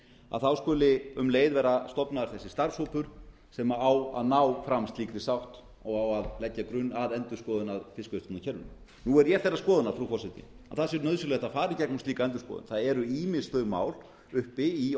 að þá skuli um leið vera stofnaður þessi starfshópur sem á að ná fram slíkri sátt og á að leggja grunn að endurskoðun á fiskveiðistjórnarkerfinu nú er ég þeirrar skoðunar frú forseti að það sé nauðsynlegt að fara í gegnum slíka endurskoðun það eru ýmis þau mál uppi í